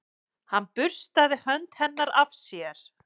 Hann burstaði hönd hennar af sér.